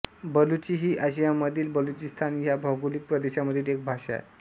बलुची ही आशियामधील बलुचिस्तान ह्या भौगोलिक प्रदेशामधील एक भाषा आहे